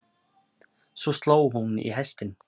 Svo sló hún í hestinn.